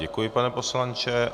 Děkuji, pane poslanče.